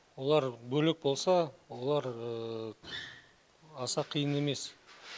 олар бөлек болса олар аса қиын емес